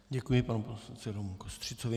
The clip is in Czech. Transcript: Děkuji panu poslanci Romu Kostřicovi.